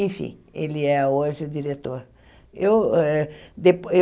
Enfim, ele é hoje diretor. Eu eh depo eu